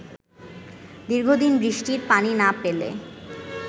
দীর্ঘদিন বৃষ্টির পানি না পেলে